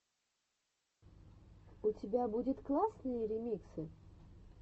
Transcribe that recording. у тебя будет классные ремиксы